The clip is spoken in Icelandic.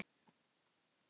Og var það hann sem?